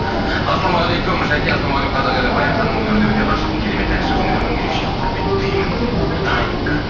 ассалаумағалейкум жаке ассаламайғалейкум қазақ елі баян ханымның өнеріне өте ғашықпын керемет әнші өнерін ерекше құрметтеймін дейді даник